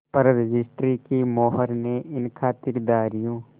पर रजिस्ट्री की मोहर ने इन खातिरदारियों